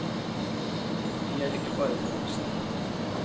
Og de er ikke bare for voksne.